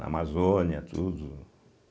Na Amazônia, tudo.